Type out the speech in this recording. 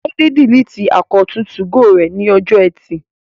Láídé diliti àkáùntì 2go rẹ̀ ní ọjọ́ ẹtì